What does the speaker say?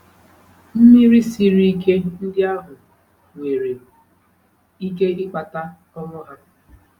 Mmiri siri ike ndị ahụ nwere ike ịkpata ọnwụ ha.